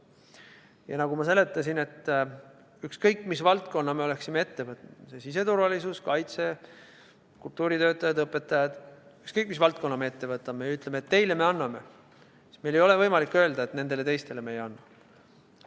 Ja nagu ma seletasin, et ükskõik, mis valdkonna me oleksime ette võtnud – on see siseturvalisus, kaitse, kultuuritöötajad, õpetajad – ja öelnud, et teile me anname, siis meil ei ole võimalik öelda, et nendele teistele me ei anna.